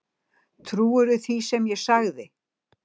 Trúðirðu því sem ég sagði?